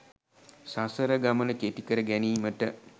සසර ගමන කෙටිකර ගැනීමට